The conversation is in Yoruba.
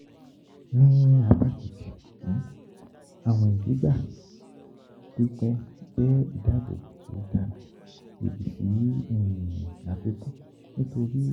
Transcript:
Ni apa keji, awin igba pipẹ jẹ idabobo ti o dara lodi si afikun nitori